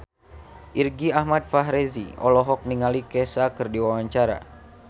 Irgi Ahmad Fahrezi olohok ningali Kesha keur diwawancara